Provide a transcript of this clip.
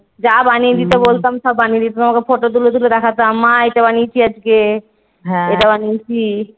যা বানিয়ে দিতে বলতাম সব বানিয়ে দিত আমাকে Photo তুলে তুলে দেখতাম মা এটা বানিয়েছি আজকে এটা বানিয়েছি।